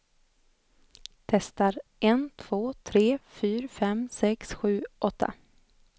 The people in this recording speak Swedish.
Testar en två tre fyra fem sex sju åtta.